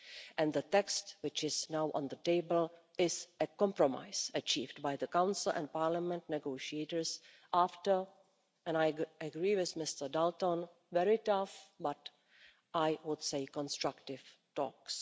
and the text which is now on the table is a compromise achieved by the Council and Parliament negotiators after and I agree with Mr Dalton very tough but, I would say, constructive talks.